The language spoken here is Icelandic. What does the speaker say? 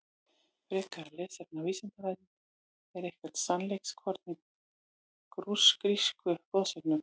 Frekara lesefni á Vísindavefnum: Er eitthvert sannleikskorn í grísku goðsögunum?